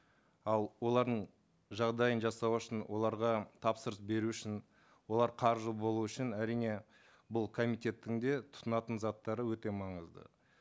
ал олардың жағдайын жасау үшін оларға тапсырыс беру үшін олар қаржы болуы үшін әрине бұл комитеттің де тұтынатын заттары өте маңызды